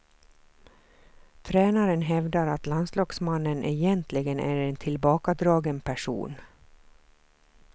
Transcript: Tränaren hävdar att landslagsmannen egentligen är en tillbakadragen person.